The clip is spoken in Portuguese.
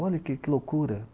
Olha que que loucura!